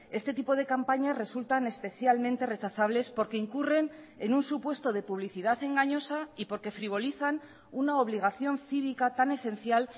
este tipo de campañas resultan especialmente rechazables porque incurren en un supuesto de publicidad engañosa y porque frivolizan una obligación cívica tan esencial